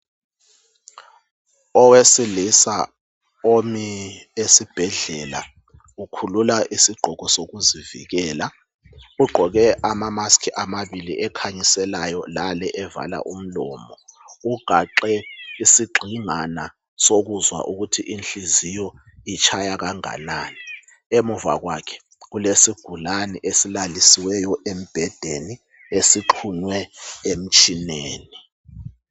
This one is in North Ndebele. Owesilisa omi esiBhedlela ukhulula isigqoko sokuzivikela, ugqoke ama mask amabili ekhayiselayo lale evala umlomo, ugaxe isigxingana sokuzwa ukuthi inhliziyo itshaya kanganani. Emuva kwakhe kulesigulane esilalisiweyo embhedeni esixhunywe emtshineni.